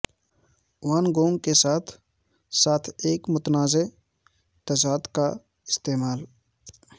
وان Gogh کے ساتھ ساتھ ایک متنازعہ تضاد کا استعمال